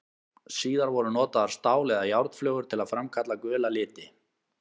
Síðar voru notaðar stál- eða járnflögur til að framkalla gula liti.